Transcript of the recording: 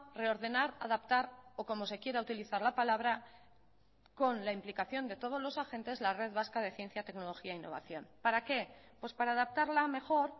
reordenar adaptar o como se quiera utilizar la palabra con la implicación de todos los agentes la red vasca de ciencia tecnología e innovación para qué para adaptarla mejor